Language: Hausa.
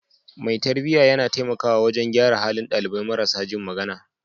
Mai tarbiyya yana taimakawa wajen gyara halin dalibai marasa jin magana.